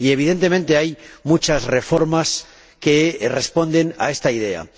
Y, evidentemente, hay muchas reformas que responden a esta idea.